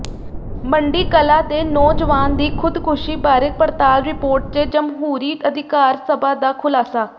ਮੰਡੀ ਕਲਾਂ ਦੇ ਨੌਜਵਾਨ ਦੀ ਖ਼ੁਦਕੁਸ਼ੀ ਬਾਰੇ ਪੜਤਾਲ ਰਿਪੋਰਟ ਚ ਜਮਹੂਰੀ ਅਧਿਕਾਰ ਸਭਾ ਦਾ ਖੁਲਾਸਾ